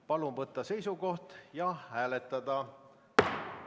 Palun võtta seisukoht ja hääletada!